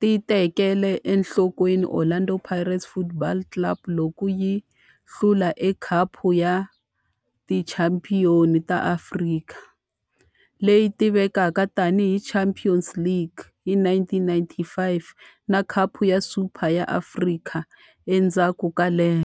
ti tekele enhlokweni Orlando Pirates Football Club loko yi hlula eka Khapu ya Tichampion ta Afrika, leyi tivekaka tani hi Champions League, hi 1995 na Khapu ya Super ya Afrika endzhaku ka lembe.